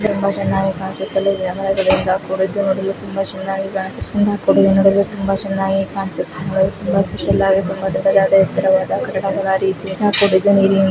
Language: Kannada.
ಇನ್ನೊಬ್ರು ಅಂಕಲ್ ಸಮುದ್ರ ದಳದಲ್ಲಿ ನಿಂತಿದ್ದಾರೆ ಹಿಂದೆ ಒಂದು ಬೋಟ್ ಕಾಣುಸ್ತಾ ಇದೆ ತುಂಬಾ ಚೆನ್ನಾಗಿ ಕಾಣಿಸ್ತಾ ಇದೆ.